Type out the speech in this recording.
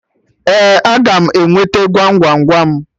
Ee, a ga m enweta Gwam Gwam Gwam